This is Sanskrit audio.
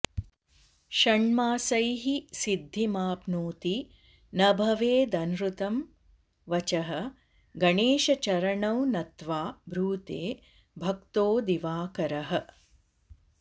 षण्मासैः सिद्धिमाप्नोति न भवेदनृतं वचः गणेशचरणौ नत्वा ब्रूते भक्तो दिवाकरः